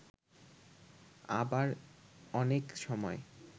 আবার অনেক সময়